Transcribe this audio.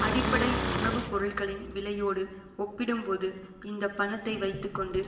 அடிப்படை உணவு பொருட்களின் விலையோடு ஒப்பிடும்போது இந்த பணத்தை வைத்து கொண்டு